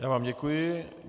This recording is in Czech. Já vám děkuji.